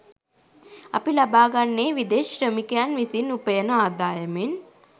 අපි ලබාගන්නේ විදෙස් ශ්‍රමිකයින් විසින් උපයන ආදායමෙන්